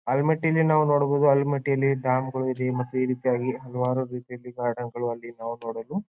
ಆಲ್ಮಿ ಟ್ಟಿಲಿ ನಾವ್ ನೋಡಬಹುದು ಆಲ್ಮಿ ಟ್ಟಿಲಿ ಡ್ಯಾಮ್ಗಳು ಈ ರೀತಿಯಾಗಿ ಹಲವಾರು ರೀತಿಯಲ್ಲಿ ಗಾರ್ಡನ್ಗಳು ಅಲ್ಲಿ ನೋಡಲು.